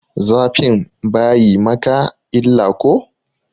Zafin bayi maka illa ko?